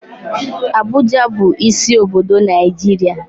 Abuja bụ isi obodo Naijiria.